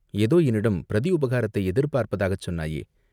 "ஏதோ என்னிடம் பிரதி உபகாரத்தை எதிர் பார்ப்பதாகச் சொன்னாயே?